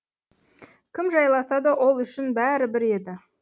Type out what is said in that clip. кім жайласа да ол үшін бәрібір еді